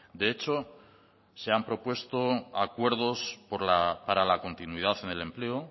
de hecho se han propuesto acuerdos para la continuidad en el empleo